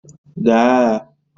Gaa agha